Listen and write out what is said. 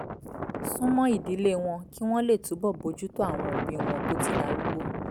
sún mọ́ ìdílé wọn kí wọ́n lè túbọ̀ bójú tó àwọn òbí wọn tó ti darúgbó